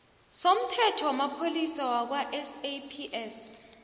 somthetho wamapholisa wakwasaps